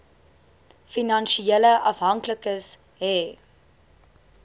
finansiële afhanklikes hê